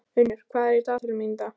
Unnur, hvað er í dagatalinu mínu í dag?